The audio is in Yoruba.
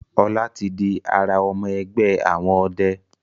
Ola tí dì àrà ọmọ ẹgbẹ àwọn ọdẹ.